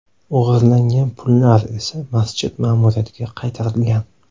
O‘g‘irlangan pullar esa masjid ma’muriyatiga qaytarilgan.